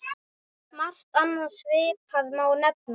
Margt annað svipað má nefna.